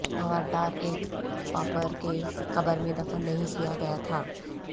موارٹار ایک پاپپر کے قبر میں دفن نہیں کیا گیا تھا